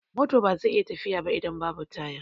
Mota baza ta iya tafiya ba idan babu taya